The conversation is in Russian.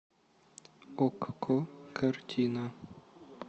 окко картина